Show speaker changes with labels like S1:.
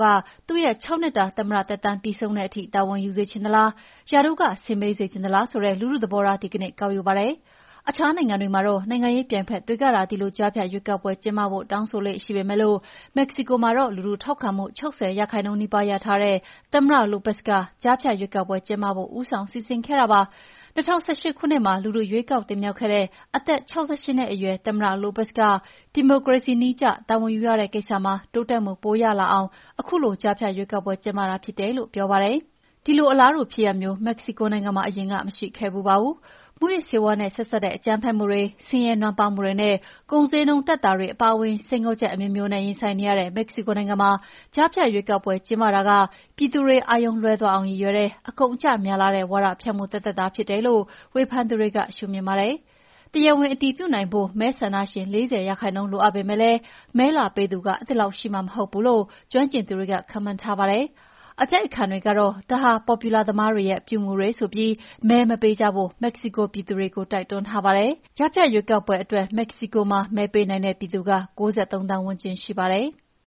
S1: က သူ့ရဲ့ ၆ နှစ်တာ သမ္မတသက်တမ်း ပြီးဆုံးတဲ့အထိ တာဝန်ယူစေချင်သလား၊ ရာထူးက ဆင်းပေးစေချင်သလား ဆိုတဲ့ လူထုသဘောထား ဒီကနေ့ ကောက်ယူပါတယ်။ အခြားနိုင်ငံမှာတော့ နိုင်ငံရေးပြိုင်ဘက်တွေကသာ ဒီလို ကြားဖြတ်ရွေးကောက်ပွဲ ကျင်းပဖို့ တောင်းဆိုလေ့ရှိပေမယ့် မက္ကဆီကိုမှာတော့ လူထုထောက်ခံမှု ၆၀ ရာခိုင်နှုန်းနီးပါး ရထားတဲ့ သမ္မတ Lopez က ကြားဖြတ်ရွေးကောက်ပွဲ ကျင်းပဖို့ ဦးဆောင်စီစဉ်ခဲ့တာပါ။ ၂၀၁၈ ခုနှစ်မှာ လူထုက ရွေးကောက်တင်မြှောက်ခဲ့တဲ့ အသက် ၆၈ နှစ်အရွယ်သမ္မတ Lopez က ဒီမိုကရေစီနည်းကျ တာဝန်ယူရတဲ့ကိစ္စမှာ တိုးတက်မှုပိုရလာအောင် ခုလို ကြားဖြတ်ရွေးကောက်ပွဲ ကျင်းပတာ ဖြစ်တယ်လို့ ပြောပါတယ်။ ဒီလို အလားတူဖြစ်ရပ်မျိုး မက္ကဆီကိုနိုင်ငံမှာ အရင်က မရှိခဲ့ဖူးပါဘူး။ မူးယစ်ဆေးဝါးနဲ့ ဆက်စပ်တဲ့ အကြမ်းဖက်မှုတွေ၊ ဆင်းရဲနွမ်းပါးမှုတွေနဲ့ ကုန်ဈေးနှုန်း တက်တာတွေ အပါအဝင် စိန်ခေါ်ချက်အမျိုးမျိုးနဲ့ ရင်ဆိုင်နေရတဲ့ မက္ကဆီကိုနိုင်ငံမှာ ကြားဖြတ်ရွေေးကောက်ပွဲ ကျင်းပတာက ပြည်သူတွေ အာရုံလွဲသွားအောင် ရည်ရွယ်တဲ့ အကုန်အကျများလှတဲ့ ဝါဒဖြန့်မှုသက်သက်သာ ဖြစ်တယ်လို့ ဝေဖန်သူတွေက ရှုမြင်ပါတယ်။ တရားဝင် အတည်ပြုနိုင်ဖို့ မဲဆန္ဒရှင် ၄၀ ရာခိုင်နှုန်း လိုအပ်ပေမယ့် မဲလာပေးသူ အဲဒီလောက်ရှိမှာ မဟုတ်ဘူးလို့ ကျွမ်းကျင်သူတွေက ခန့်မှန်းထားပါတယ်။ အတိုက်အခံတွေကတော့ ဒါဟာ ပေါ်ပြူလာသမားတွေရဲ့ အပြုအမူတွေ ဆိုပြီး မဲမပေးကြဖို့ မက္ကဆီကို ပြည်သူတွေကို တိုက်တွန်းထားပါတယ်။ ကြားဖြတ်ရွေးကောက်ပွဲအတွက် မဲပေးနိုင်တဲ့ ပြည်သူ ၉၃ သန်းဝန်းကျင် ရှိပါတယ်။